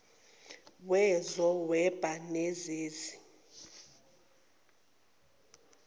wezo whebo nezezi